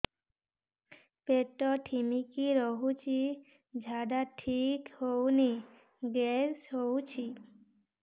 ପେଟ ଢିମିକି ରହୁଛି ଝାଡା ଠିକ୍ ହଉନି ଗ୍ୟାସ ହଉଚି